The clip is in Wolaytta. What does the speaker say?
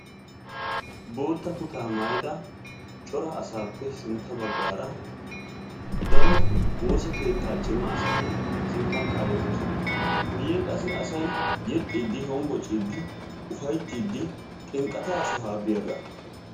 Bootta kutta maayyida cora asappe sintta baggara daro woossa keetta cimma asati sinttan kaaletoosona. Guyyen qassi asay yeexxidi hombboccidi ufayttidi xinqqata sohuwaa biyaaga.